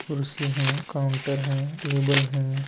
कुर्सी हैं काउंटर है और टेबल है।